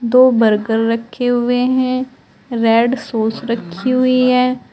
दो बर्गर रखे हुए हैं। रेड सॉस रखी हुई है।